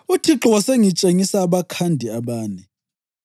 UThixo wasengitshengisa abakhandi abane.